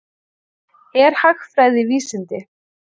Er hagfræði vísindi?